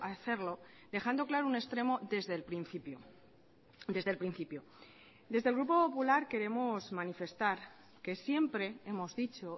hacerlo dejando claro un extremo desde el principio desde el principio desde el grupo popular queremos manifestar que siempre hemos dicho